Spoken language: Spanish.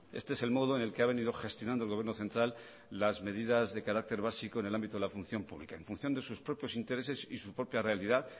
este es el modo en el que ha venido gestionando el gobierno central las medidas de carácter básico en el ámbito de la función pública en función de sus propios intereses y su propia realidad